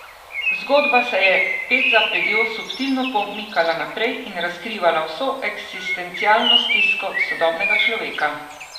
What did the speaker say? Zgodba se je ped za pedjo subtilno pomikala naprej in razkrivala vso eksistencialno stisko sodobnega človeka.